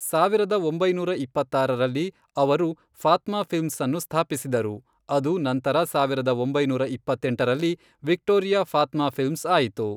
ಸಾವಿರದ ಒಂಬೈನೂರ ಇಪ್ಪತ್ತಾರರಲ್ಲಿ, ಅವರು ಫಾತ್ಮಾ ಫಿಲ್ಮ್ಸ್ ಅನ್ನು ಸ್ಥಾಪಿಸಿದರು, ಅದು ನಂತರ ಸಾವಿರದ ಒಂಬೈನೂರ ಇಪ್ಪತ್ತೆಂಟರಲ್ಲಿ ವಿಕ್ಟೋರಿಯಾ ಫಾತ್ಮಾ ಫಿಲ್ಮ್ಸ್ ಆಯಿತು.